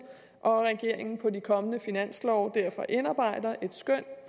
og at regeringen på de kommende finanslove derfor indarbejder et skøn